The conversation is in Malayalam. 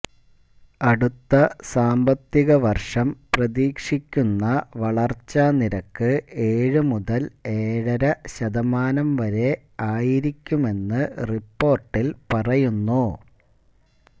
അടുത്ത സാമ്പത്തിക വര്ഷം പ്രതീക്ഷിക്കുന്ന വളര്ച്ചാനിരക്ക് ഏഴു മുതല് ഏഴര ശതമാനം വരെ ആയിരിക്കുമെന്നു റിപ്പോര്ട്ടില് പറയുന്നു